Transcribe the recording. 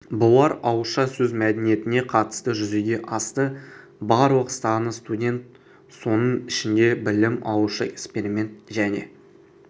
бұлар ауызша сөз мәдениетіне қатысты жүзеге асты барлық саны студент соның ішінде білім алушы эксперимент және